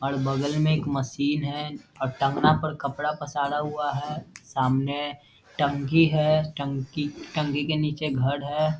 और बगल में एक मशीन है और टांगना पर कपड़ा पसारा हुआ है सामने टंकी है टंकी टंकी के नीचे एक घर है।